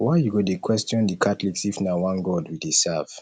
why you go dey question the catholics if na one god we dey serve